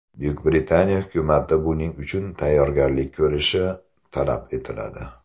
Buyuk Britaniya hukumati buning uchun tayyorgarlik ko‘rishi talab etiladi.